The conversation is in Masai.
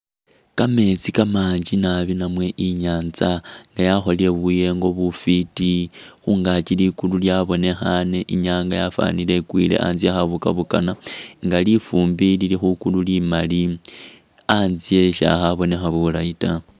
Kameetsi kamangi naabi namwe inyantsa nga yakholele buyengo bufiti khungakyi likulu lyabonekhane inyanga yafanile ikwile khatse khe kabokabokana nga lifumbi lili khukulu limali khatse tsakhabonakha bulayi ta.